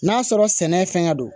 N'a sɔrɔ sɛnɛ ye fɛngɛ don